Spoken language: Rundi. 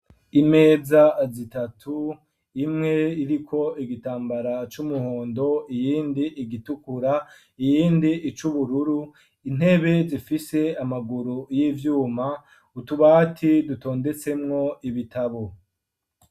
Imeza zitatu imwe iriko igitambara c'umuhondo iyindi igitukura, iyindi icubururu, intebe zifise amaguru y'ivyuma, utubati dutondesemwo ibitabo.